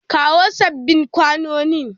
Kawo sabbin kwanonin!